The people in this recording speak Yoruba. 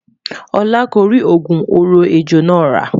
olá kò ri ogún òrò ẹjọ nà ra